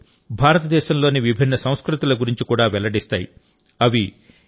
ఇలాంటి ఆటలు భారతదేశంలోని విభిన్న సంస్కృతుల గురించి కూడా వెల్లడిస్తాయి